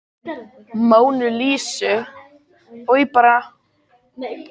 Hver málaði málverkið af Mónu Lísu?